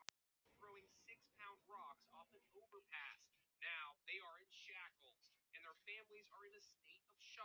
Tanginn varð ekki klifinn úr fjörunni.